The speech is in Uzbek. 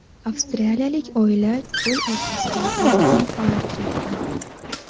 Avstraliyalik oila cho‘l o‘rtasida to‘rt kun qolib ketdi.